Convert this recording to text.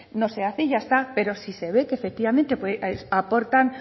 no se hace y ya está pero si se ve que efectivamente aportan